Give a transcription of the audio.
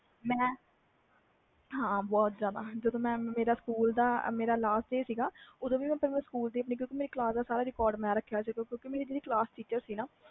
ਹਾਂ ਬਹੁਤ ਜਿਆਦਾ ਜਦੋ ਮੇਰਾ ਮੇਰੇ ਸਕੂਲ ਦਾ last day ਸੀ ਨਾ ਓਦੋ ਵੀ ਮੈਂ ਸਾਰੀ ਕਲਾਸ ਦਾ record ਰੱਖਿਆ ਹੋਇਆ ਸੀ ਕਿਉਕਿ ਮੇਰੀ ਜਿਹੜੀ ਕਲਾਸ teacher ਸੀ ਨਾ